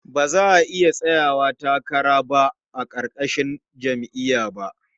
Za a iya tsayawa takara ba a ƙarƙashin jam'iyya ba.